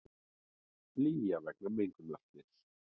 Flýja vegna mengunarslyss